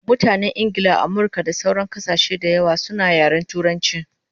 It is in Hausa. Mutanen Ingla, Amirka da sauran kasashe dayawa suna yaren turanchi